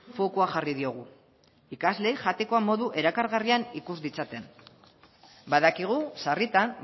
fokua jarri diogu ikasleek jateko modu erakargarrian ikus ditzaten badakigu sarritan